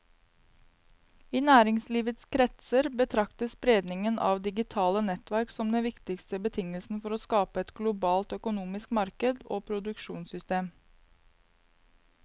I næringslivskretser betraktes spredningen av digitale nettverk som den viktigste betingelsen for å skape et globalt økonomisk marked og produksjonssystem.